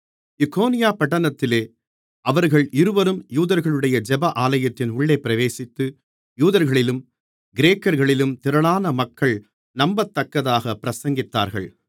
இக்கோனியா பட்டணத்திலே அவர்கள் இருவரும் யூதர்களுடைய ஜெப ஆலயத்தின் உள்ளே பிரவேசித்து யூதர்களிலும் கிரேக்கர்களிலும் திரளான மக்கள் நம்பத்தக்கதாகப் பிரசங்கித்தார்கள்